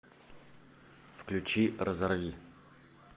включи разорви